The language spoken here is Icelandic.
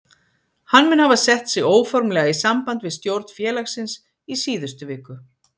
Hann mun hafa sett sig óformlega í samband við stjórn félagsins í síðustu viku.